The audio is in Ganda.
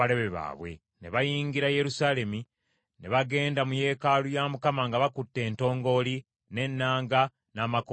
Ne bayingira Yerusaalemi, ne bagenda mu yeekaalu ya Mukama nga bakutte entongooli, n’ennanga, n’amakondeere.